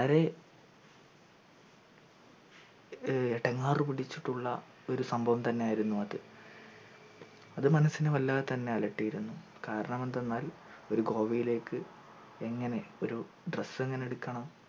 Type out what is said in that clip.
വളരെ ഏർ എടങ്ങാറ് പിടിച്ചിട്ടുള്ള ഒരു സംഭവം തന്നെയായിരുന്നു അത് അത് മനസ്സിനെ വല്ലാതെ തന്നെ അലറട്ടീരുന്നു കാരണം എന്തന്നാൽ ഒരു ഗോവയിലേക് എങ്ങനെ ഒരു dress എങ്ങനെടുക്കണം